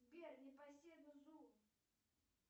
сбер непоседа зу